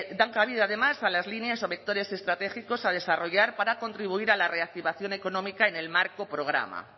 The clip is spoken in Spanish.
dan cabida además a las líneas o vectores estratégicos a desarrollar para contribuir a la reactivación económica en el marco programa